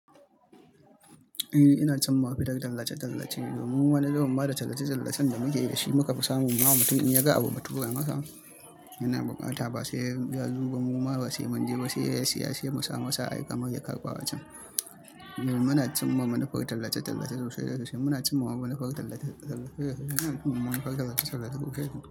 Eh ina can muhadu tallace-tallace domin mu wani lokacin ma da tallace-tallacen da muke yi da shi muka fi samun ma mutum in ya ga abu matura masa, yana bakanta, ba sai ya zoba mu ma ba sai mun je ba sai ya siya, sai masa a aika masa ya karɓa a can. Mu muna cin ma manufar tallace-tallace rashe rashe. Muna son mawa manufar tallace-tallace rashe rashe. Mawa manufar tallace-tallace rushe rushe.